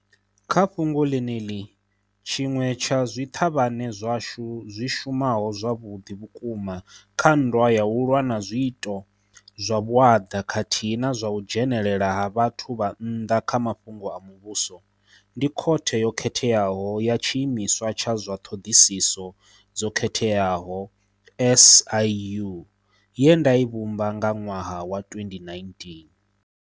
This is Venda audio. Kha fhungo ḽeneḽi, tshiṅwe tsha zwiṱhavhane zwashu zwi shumaho zwavhuḓi vhukuma kha nndwa ya u lwa na zwiito zwa vhuaḓa khathihi na zwa u dzhenelela ha vhathu vha nnḓa kha mafhungo a muvhuso, ndi Khothe yo Khetheaho ya Tshiimiswa tsha zwa Ṱhoḓisiso dzo Khetheaho SIU, ye nda i vhumba nga ṅwaha wa 2019.